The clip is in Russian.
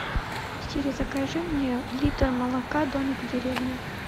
сири закажи мне литр молока домик в деревне